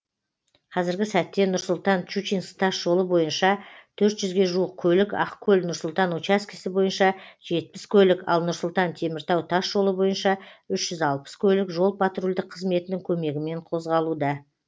қазіргі сәтте нұр сұлтан щучинск тасжолы бойынша төрт жүзге жуық көлік ақкөл нұр сұлтан учаскесі бойынша жетпіс көлік ал нұр сұлтан теміртау тасжолы бойынша үш жүз алпыс көлік жол патрульдік қызметінің көмегімен қозғалуда